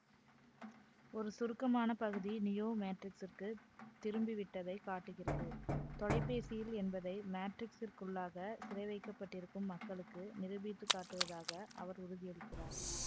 ஒரு சுருக்கமான பகுதி நியோ மேட்ரிக்ஸிற்கு திரும்பிவிட்டதைக் காட்டுகிறது தொலைபேசியில் என்பதை மேட்ரிக்ஸிற்குள்ளாக சிறைவைக்கப்பட்டிருக்கும் மக்களுக்கு நிரூபித்து காட்டுவதாக அவர் உறுதியளிக்கிறார்